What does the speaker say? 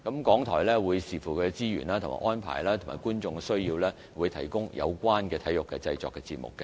港台則會視乎其資源和安排，以及觀眾的需要，提供有關的體育製作節目。